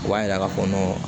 O b'a yira ka fɔ ko